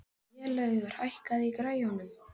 Vélaugur, hækkaðu í græjunum.